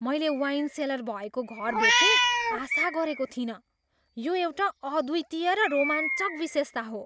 मैले wine cellar भएको घर भेट्ने आशा गरेको थिइनँ, यो एउटा अद्वितीय र रोमाञ्चक विशेषता हो।